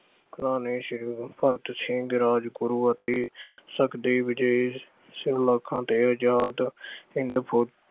ਭਕਣਾ ਤੇ ਸ਼ਹੀਦ ਭਗਤ ਸਿੰਘ, ਰਾਜਗੁਰੂ ਅਤੇ ਅਹ ਸੁਖਦੇਵ ਜਿਹੇ ਸਲਾਖਾਂ ਤੇ ਆਜ਼ਾਦ ਅਹ